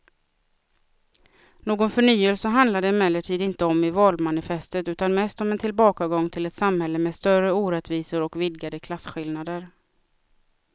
Någon förnyelse handlar det emellertid inte om i valmanifestet utan mest om en tillbakagång till ett samhälle med större orättvisor och vidgade klasskillnader.